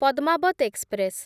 Padmaavat express